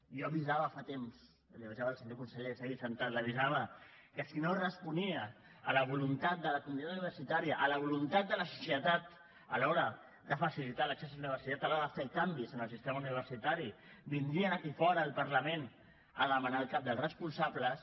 jo avisava fa temps avisava el senyor conseller que està aquí assegut que si no responia a la voluntat de la comunitat universitària a la voluntat de la societat a l’hora de facilitar l’accés a la universitat a l’hora de fer canvis en el sistema universitari vindrien aquí fora al parlament a demanar els caps dels responsables